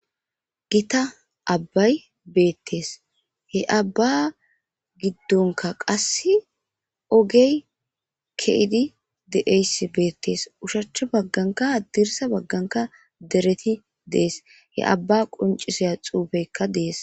Gita abbay beettees. He Abba giddonikka qassi ogey ke7idi de7eyssi beettees. Ushacha baggankka haddirssa baggankka dereti de7ees. He Abba qonccisiya xuufeykka de7ees.